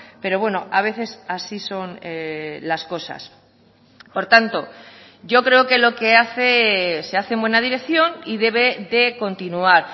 pero bueno a veces así son las cosas por tanto yo creo que lo que hace se hace en buena dirección y debe de continuar